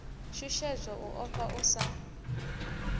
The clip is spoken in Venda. shushedzwa u ofha u sa